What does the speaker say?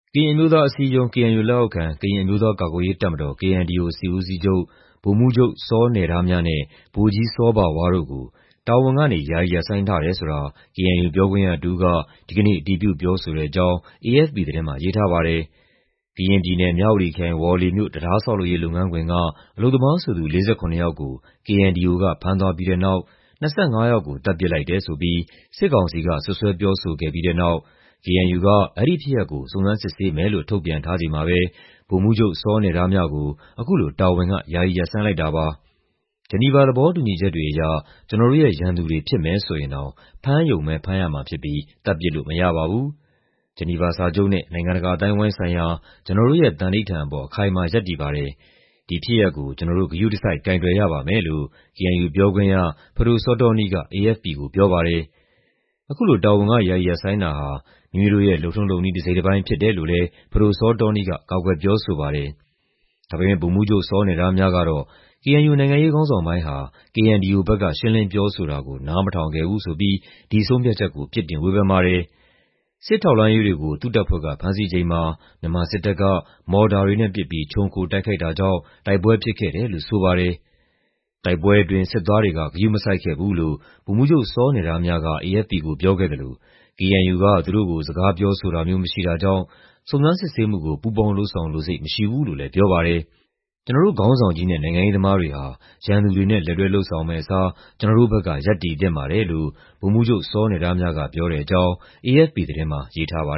ကရင်အမျိုးသားအစည်းအရုံး (KNU) လက်အောက်ခံ ကရင်အမျိုးသား ကာကွယ်ရေးတပ်မတော် (KNDO) စစ်ဦးစီးချုပ် ဗိုလ်မှူးချုပ်စောနယ်ဒါးမြနဲ့ ဗိုလ်ကြီးစောဘာဝါးတို့ကို တာဝန်ကနေ ယာယီရပ်ဆိုင်းထားတယ်ဆိုတာ KNU ပြောခွင့်ရတဦးက ဒီကနေ့ အတည်ပြုပြောဆိုတဲ့အကြောင်း AFP သတင်းမှာ ရေးထားပါတယ်။ ကရင်ပြည်နယ်၊ မြဝတီခရိုင်၊ ဝေါလေမြို့ တံတားဆောက်လုပ်ရေး လုပ်ငန်းခွင်က အလုပ်သမားဆိုသူ ၄၇ ယောက်ကို KNDO က ဖမ်းသွားပြီးတဲ့နောက် ၂၅ ယောက်ကို သတ်ပစ်လိုက်တယ်ဆိုပြီး စစ်ကောင်စီက စွပ်စွဲပြောဆိုခဲ့ပြီးတဲ့နောက် KNU က အဲဒီဖြစ်ရပ်ကို စုံစမ်းစစ်ဆေးမယ်လို့ ထုတ်ပြန်ထားချိန်မှာပဲ ဗိုလ်မှူးချုပ်စောနယ်ဒါးမြကို အခုလို တာဝန်က ယာယီရပ်ဆိုင်းလိုက်တာပါ။ "ဂျီနီဗာသဘောတူညီချက်တွေအရ ကျနော်တို့ရဲ့ရန်သူတွေ ဖြစ်မယ်ဆိုရင်တောင် ဖမ်းရုံပဲ ဖမ်းရမှာဖြစ်ပြီး သတ်ပစ်လို့မရပါဘူး။ ဂျီနီဗာစာချုပ်နဲ့ နိုင်ငံတကာ အသိုင်းအဝိုင်းဆိုင်ရာ ကျနော်တို့ရဲ့ သန္နိဋ္ဌာန်အပေါ် အခိုင်အမာ ရပ်တည်ပါတယ်။ ဒီဖြစ်ရပ်ကို ကျနော်တို့ ဂရုတစိုက် ကိုင်တွယ်ရပါမယ်" လို့ KNU ပြောခွင့်ရ ပဒိုစောတောနီးက AFP ကို ပြောပါတယ်။ အခုလို တာဝန်က ယာယီရပ်ဆိုင်းတာဟာ "မိမိတို့ရဲ့ လုပ်ထုံးလုပ်နည်း တစိတ်တပိုင်း" ဖြစ်တယ်လို့လည်း ပဒိုစောတောနီးက ကာကွယ်ပြောဆိုပါတယ်။ ဒါပေမယ့် ဗိုလ်မှူးချုပ်စောနယ်ဒါးမြကတော့ KNU နိုင်ငံရေးခေါင်းဆောင်ပိုင်းဟာ KNDO ဘက်က ရှင်းလင်းပြောဆိုတာကို နားမထောင်ခဲ့ဘူးဆိုပြီး ဒီဆုံးဖြတ်ချက်ကို ပြစ်တင်ဝေဖန်ပါတယ်။ စစ်ထောက်လှမ်းရေးတွေကို သူ့တပ်ဖွဲ့က ဖမ်းဆီးချိန်မှာ မြန်မာစစ်တပ်က မော်တာတွေနဲ့ပစ်ပြီး ခြုံခိုတိုက်ခိုက်တာကြောင့် တိုက်ပွဲဖြစ်ခဲ့တယ်လို့ ဆိုပါတယ်။ "တိုက်ပွဲအတွင်း စစ်သားတွေက ဂရုမစိုက်ခဲ့ဘူး" လို့ ဗိုလ်မှူးချုပ်စောနယ်ဒါးမြက AFP ကို ပြောခဲ့သလို KNU က သူတို့ကို စကားပြောဆိုတာမျိုး မရှိတာကြောင့် စုံစမ်းစစ်ဆေးမှုကို ပူးပေါင်းလုပ်ဆောင်လိုစိတ် မရှိဘူးလို့လည်း ပြောပါတယ်။ "ကျနော်တို့ ခေါင်းဆောင်ကြီးနဲ့ နိုင်ငံရေးသမားတွေဟာ ရန်သူတွေနဲ့ လက်တွဲလုပ်ဆောင်မယ့်အစား ကျနော်တို့ဘက်က ရပ်တည်သင့်ပါတယ်" လို့ ဗိုလ်မှူးချုပ်စောနယ်ဒါးမြက ပြောတဲ့အကြောင်း AFP သတင်းမှာ ရေးထားပါ